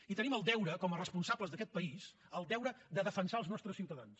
i tenim el deure com a responsables d’aquest país de defensar els nostres ciutadans